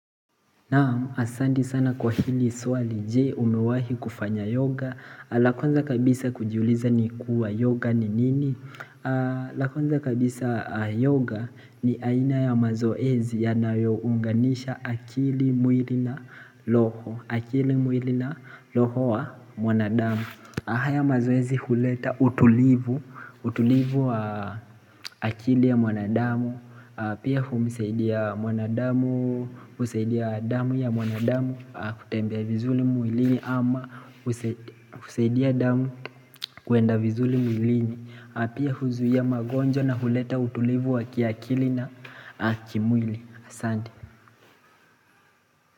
Naamu asandi sana kwa hili swali je umewahi kufanya yoga? Lakwanza kabisa kujiuliza ni kuwa yoga ni nini Lakwanza kabisa yoga ni aina ya mazoezi yanayo unganisha akili mwili na loho, akili, mwili na loho wa mwanadamu. Haya mazoezi huleta utulivu utulivu wa akili ya mwanadamu Pia humusaidia mwanadamu, husaidia damu ya mwanadamu kutembea vizuri mwilini ama husaidia damu kwenda vizuli mwilini. Pia huzuia magonjwa na huleta utulivu wa kiakili na kimwili, asante.